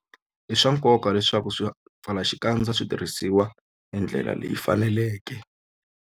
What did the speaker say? I swa nkoka leswaku swipfalaxikandza swi tirhisiwa hi ndlela leyi faneleke.